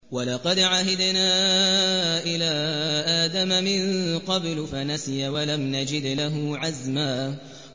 وَلَقَدْ عَهِدْنَا إِلَىٰ آدَمَ مِن قَبْلُ فَنَسِيَ وَلَمْ نَجِدْ لَهُ عَزْمًا